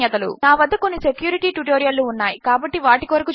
నా వద్ద కొన్ని సెక్యూరిటీ ట్యుటోరియల్ లు ఉన్నాయి కాబట్టి వాటి కొరకు చూడండి